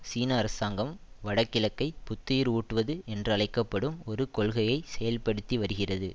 சீன அரசாங்கம் வடகிழக்கை புத்துயிர் ஊட்டுவது என்றழைக்க படும் ஒரு கொள்கையை செயல்படுத்தி வருகிறது